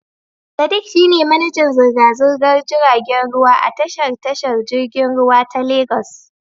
Sadiq shi ne manajan zirga-zirgar jiragen ruwa a tashar tashar jirgin ruwa ta Legas.